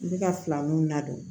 I bɛ ka filaninw ladon